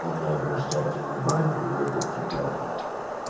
не обращайте внимания я для тебя блять